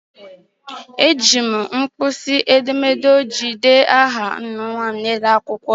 Ejiri m mpkisi edemede ojii dee aha nnwa m n'elu akwụkwọ ya..